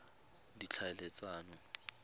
ditlhaeletsano